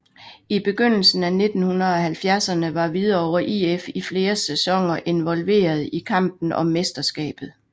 I begyndelsen af 1970erne var Hvidovre IF i flere sæsoner involveret i kampen om mesterskabet